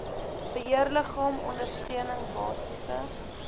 beheerliggaam ondersteuning basiese